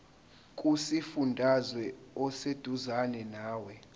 kusifundazwe oseduzane nawe